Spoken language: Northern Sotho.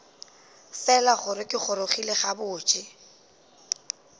fela gore ke gorogile gabotse